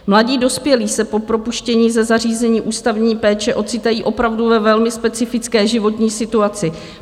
Mladí dospělí se po propuštění ze zařízení ústavní péče ocitají opravdu ve velmi specifické životní situaci.